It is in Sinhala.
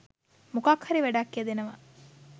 මොකක් හරි වැඩක් යෙදෙනවා